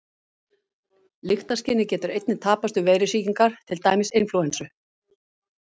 Lyktarskynið getur einnig tapast við veirusýkingar, til dæmis inflúensu.